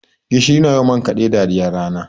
Gishiri na yi wa man kaɗe dariyar rana.